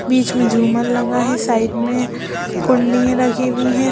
बीच में झूमर लगा है साइड में कुंडियाँ रखी हुई हैं।